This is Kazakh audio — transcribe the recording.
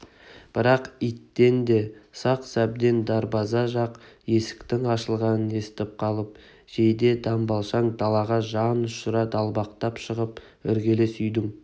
бірақ иттен де сақ сәбден дарбаза жақ есіктің ашылғанын естіп қалып жейде-дамбалшаң далаға жанұшыра далбақтап шығып іргелес үйдің